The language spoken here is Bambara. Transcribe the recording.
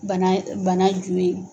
Bana bana ju ye.